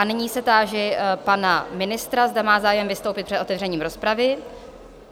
A nyní se táži pana ministra, zda má zájem vystoupit před otevřením rozpravy?